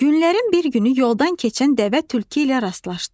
Günlərin bir günü yoldan keçən dəvə tülkü ilə rastlaşdı.